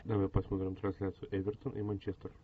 давай посмотрим трансляцию эвертон и манчестер